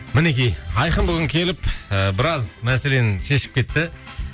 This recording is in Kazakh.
мінекей айқын бүгін келіп ыыы біраз мәселені шешіп кетті